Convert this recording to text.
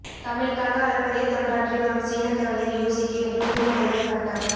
தமிழுக்காக அளப்பரிய தொண்டாற்றி வரும் சீன கவிஞர் யூசிக்கு முது முனைவர் பட்டம்